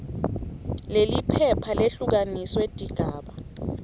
leliphepha lehlukaniswe tigaba